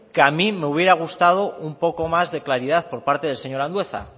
que a mí me hubiera gustado un poco más de claridad por parte del señor andueza